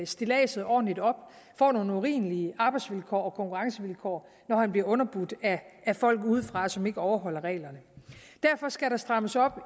stilladset ordentligt op får nogle urimelige arbejdsvilkår og konkurrencevilkår når han bliver underbudt af folk udefra som ikke overholder reglerne derfor skal der strammes op